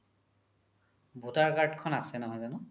voter card খন আছে নহয় জানো ?